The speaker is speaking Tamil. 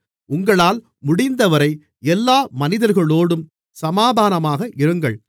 உங்களால் முடிந்தவரை எல்லா மனிதர்களோடும் சமாதானமாக இருங்கள்